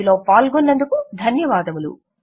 ఇందులో పాల్గొన్నందుకు ధన్యవాదములు